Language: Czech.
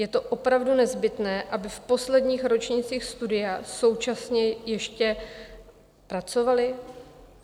Je to opravdu nezbytné, aby v posledních ročnících studia současně ještě pracovali?